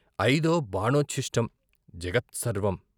అయిదో బాణోచ్ఛిష్టం జగత్సర్వం.